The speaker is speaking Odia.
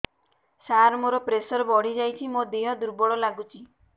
ସାର ମୋର ପ୍ରେସର ବଢ଼ିଯାଇଛି ମୋ ଦିହ ଦୁର୍ବଳ ଲାଗୁଚି